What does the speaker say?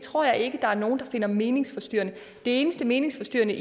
tror jeg ikke der er nogen der finder meningsforstyrrende det eneste meningsforstyrrende